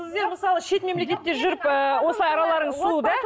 сіздер мысалы шет мемлекетте жүріп ы осылай араларыңыз суыды ә